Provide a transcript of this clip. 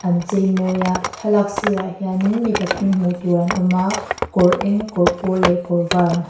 an chei mawi a thlalak sir ah hianin mi pathum hmuh tur an awm a kawr eng kawr pawl leh kawr var an ha--